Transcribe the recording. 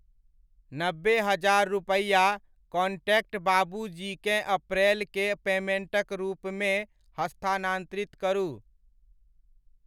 नब्बे हजार रुपैआ कॉन्टैक्ट बाबूजी केँ अप्रैल के पेमेण्टक रूपमे हस्तान्तरित करू।